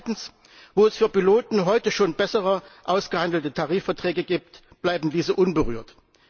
Zweitens Wo es für Piloten heute schon bessere ausgehandelte Tarifverträge gibt, bleiben diese unberührt.